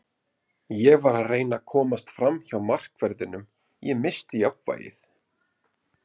Ég var að reyna að komast framhjá markverðinum, ég missti jafnvægið.